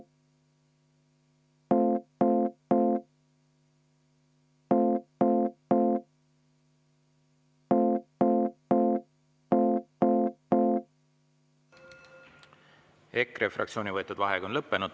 EKRE fraktsiooni võetud vaheaeg on lõppenud.